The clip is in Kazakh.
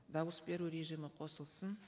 дауыс беру режимі қосылсын